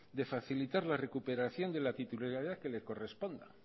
de facilitar la recuperación de la titularidad que les corresponda